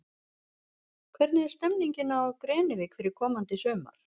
Hvernig er stemmingin á Grenivík fyrir komandi sumar?